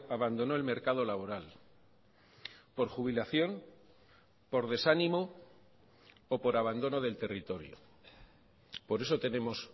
abandonó el mercado laboral por jubilación por desanimo o por abandono del territorio por eso tenemos